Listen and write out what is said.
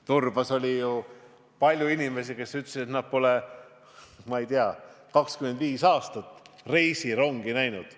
Turbas oli palju inimesi, kes ütlesid, et nad pole, ma ei tea, 25 aastat reisirongi näinud.